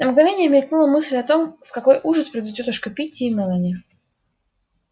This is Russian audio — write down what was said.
на мгновение мелькнула мысль о том в какой ужас придут тётушка питти и мелани